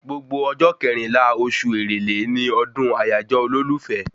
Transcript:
Gbogbo ọjọ́ kẹrìnlá oṣù èrèlé ni ọdún àyájọ́ olólùfẹ́